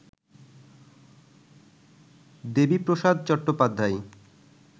Debiprasad Chattopadhyay